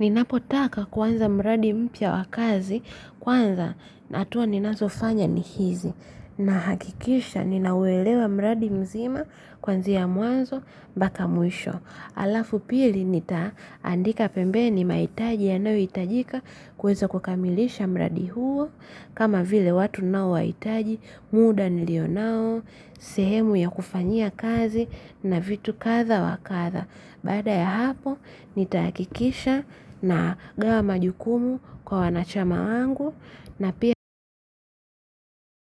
Nina potaka kuanza mradi mpya wakazi kwanza hatua ninazo fanya ni hizi na hakikisha ninauwelewa mradi mzima kuanzia mwanzo mpaka mwisho. Alafu pili nita andika pembeni mahitaji yanayo hitajika kuwezo kukamilisha mradi huo kama vile watu ninao wa hitaji muda nilio nao sehemu ya kufanyia kazi na vitu kadhaa wa kadhaa. Baada ya hapo nitakikisha nagawa majukumu kwa wanachama wangu na pia